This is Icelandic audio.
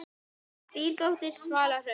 Þín dóttir, Svala Hrönn.